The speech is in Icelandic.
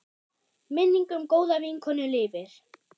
Minning um góða vinkonu lifir.